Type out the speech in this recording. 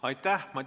Aitäh!